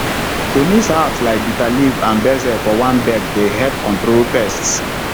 to mix herbs like bitter leaf and basil for one bed dey help control pests